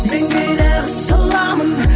мен кейде қысыламын